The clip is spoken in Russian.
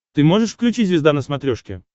ты можешь включить звезда на смотрешке